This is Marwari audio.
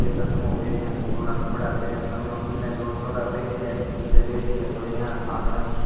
ऐ चश्मों पहरया धोला कपडा पहरया सामे बुने दो छोरा बैठ्या नीचे बैठी है छोरिया आंगणा में।